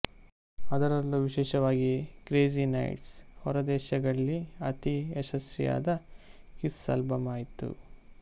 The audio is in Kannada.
ಅದರಲ್ಲೂ ವಿಶೇಷವಾಗಿ ಕ್ರೇಚಿ ನೈಟ್ಸ್ ಹೊರದೇಶಗಳ್ಲಿ ಅತಿ ಯಶಸ್ವಿಯಾದ ಕಿಸ್ ಆಲ್ಬಂ ಆಯಿತು